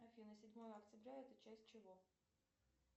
афина седьмое октября это часть чего